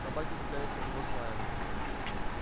собаки кидались на него с лаем